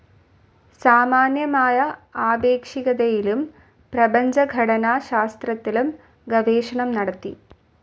സാമാന്യമായ ആപേക്ഷികതയിലും പ്രപഞ്ചഘടനാശാസ്ത്രത്തിലും ഗവേഷണം നടത്തി.